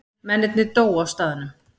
Mennirnir dóu á staðnum